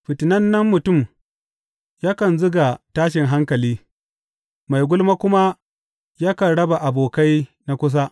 Fitinannen mutum yakan zuga tashin hankali, mai gulma kuma yakan raba abokai na kusa.